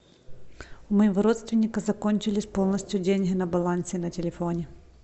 у моего родственника закончились полностью деньги на балансе на телефоне